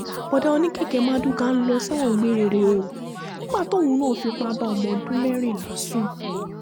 bóódá oníkẹ̀kẹ́ marduká ń lọ sẹ́wọ̀n gbére rèé o nígbà tóun náà fipá bá ọmọ ọdún mẹ́rìnlá sùn